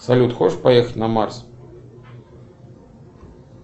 салют хочешь поехать на марс